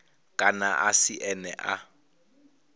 kana a si ene a